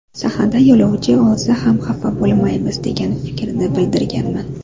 Sahnada ‘Yo‘lovchi’ olsa ham xafa bo‘lmaymiz degan fikrni bildirganman.